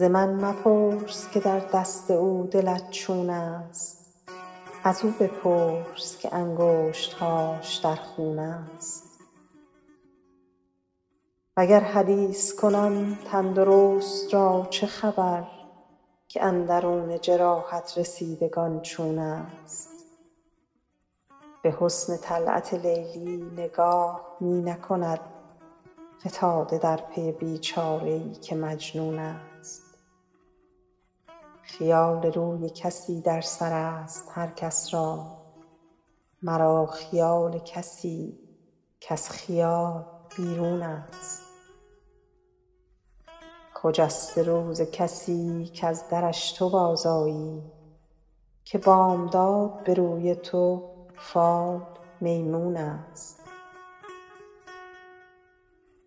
ز من مپرس که در دست او دلت چون است ازو بپرس که انگشت هاش در خون است وگر حدیث کنم تن درست را چه خبر که اندرون جراحت رسیدگان چون است به حسن طلعت لیلی نگاه می نکند فتاده در پی بی چاره ای که مجنون است خیال روی کسی در سر است هر کس را مرا خیال کسی کز خیال بیرون است خجسته روز کسی کز درش تو بازآیی که بامداد به روی تو فال میمون است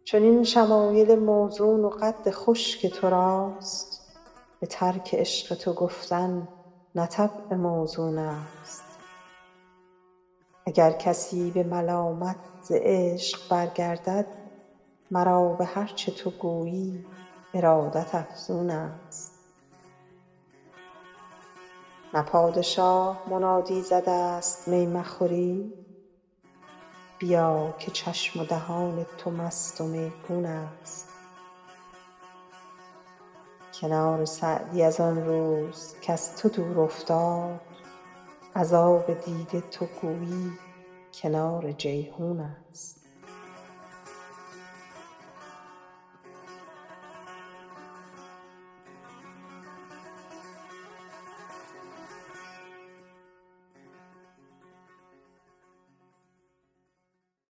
چنین شمایل موزون و قد خوش که تو راست به ترک عشق تو گفتن نه طبع موزون است اگر کسی به ملامت ز عشق برگردد مرا به هر چه تو گویی ارادت افزون است نه پادشاه منادی زده است می مخورید بیا که چشم و دهان تو مست و میگون است کنار سعدی از آن روز کز تو دور افتاد از آب دیده تو گویی کنار جیحون است